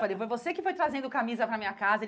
Falei, foi você que foi trazendo camisa para minha casa?